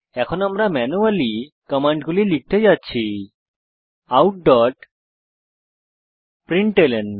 এখন আমরা ম্যানুয়ালি কমান্ডগুলি লিখতে যাচ্ছি outপ্রিন্টলন